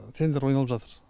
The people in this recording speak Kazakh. тендер ойналып жатыр